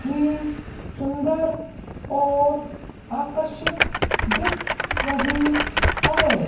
ई सुंदर और आकर्षित दिख रही हैं।